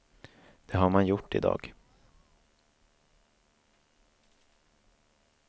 Det har man gjort i dag.